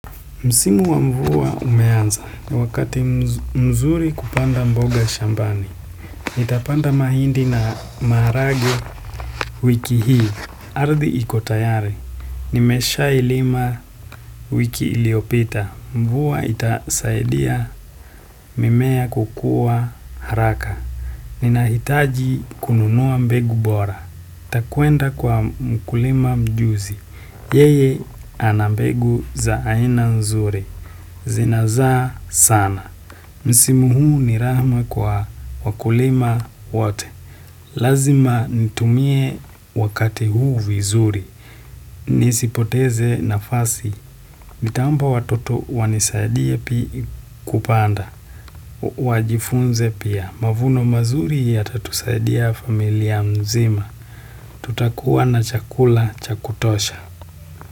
Msimu wa mvua umeanza, wakati mzuri kupanda mboga shambani, nitapanda mahindi na maharagwe wiki hii. Arddi ikotayari, nimesha ilima wiki iliopita, mvua itasaidia mimea kukua haraka. Ninahitaji kununua mbegu bora, nitakwenda kwa mkulima mjuzi. Yeye anambegu za aina nzuri. Zinazaa sana. Msimu huu ni rahma kwa wakulima wote. Lazima nitumie wakati huu vizuri. Nisipoteze nafasi. Nitaomba watoto wanisaidie pi kupanda. Wajifunze pia. Mavuno mazuri ya tatusaidiya familia mzima. Tutakua na chakula chakutosha.